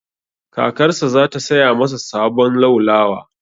Kakarsa za ta saya masa sabon laulawa.